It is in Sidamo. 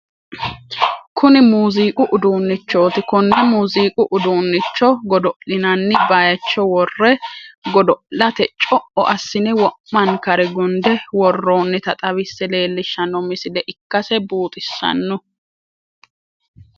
Kuni muuziiqu uduunnichooti konne muuziiqu uduunnicho godo'linanni baaycho worre godo'late co'o assine wo'mankare gunde worroonnita xawisse leellishshanno misile ikkase buuxissanno.